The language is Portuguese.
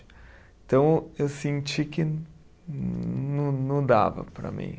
Então, eu senti que não não dava para mim.